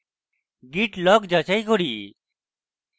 git log যাচাই করি